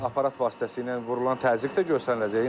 Aparat vasitəsilə vurulan təzyiq də göstəriləcək.